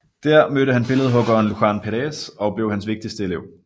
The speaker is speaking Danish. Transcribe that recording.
Der mødte han billedhuggeren Luján Pérez og blev hans vigtigste elev